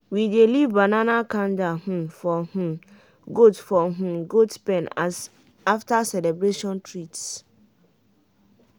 we dey leave banana cander um for um goat for um goat pen as after celebration treats.